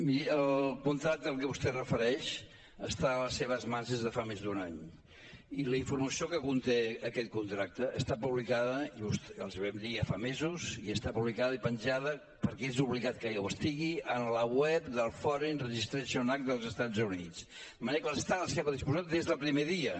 miri el contracte al que vostè es refereix està a les seves mans des de fa més d’un any i la informació que conté aquest contracte està publicada els hi vam dir ja fa mesos i està publicada i penjada perquè és obligat que ho estigui en la web del foreign registration act dels estats units de manera que està a la seva disposició des del primer dia